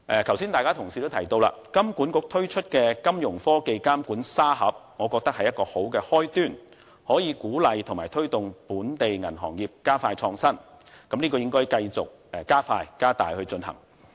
剛才很多同事都提到金管局推出的金融科技監管沙盒，我認為這是好的開端，能夠鼓勵及推動本地銀行業加快創新，這應該繼續加快進行。